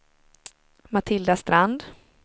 Matilda Strand